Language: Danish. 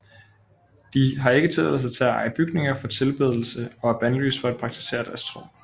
De har ikke tilladelse til at eje bygninger for tilbedelse og er bandlyst for at praktisere deres tro